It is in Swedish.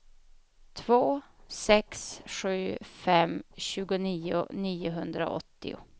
två sex sju fem tjugonio niohundraåttio